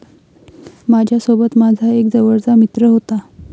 माझ्यासोबत माझा एक जवळचा मित्र होता.